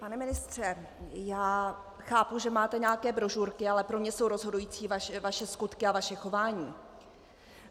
Pane ministře, já chápu, že máte nějaké brožurky, ale pro mě jsou rozhodující vaše skutky a vaše chování.